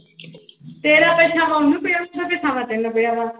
ਤੇਰਾ ਪਰਛਾਵਾਂ ਉਹਨੂੰ ਪਿਆ, ਉਹਦਾ ਪਰਛਾਵਾਂ ਤੈਨੂੰ ਪਿਆ ਵਾ।